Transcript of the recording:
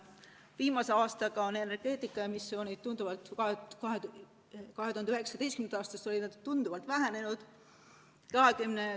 Viimase aastaga, alates 2019. aastast on energeetikas emissioonid tunduvalt vähenenud.